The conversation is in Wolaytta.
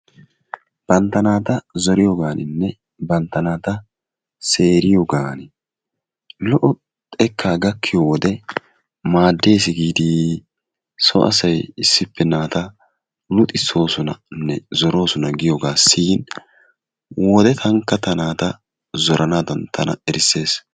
Bantaa nataa zoriyoganinne, banttaa nata seriyoganni lo'o xekka gakiyo wode madessi gidi so assay issipe nattaa luxisosonanne zorosonna giyoga siyin wodee tanikka ta nattaa zoranadan tanaka erisees.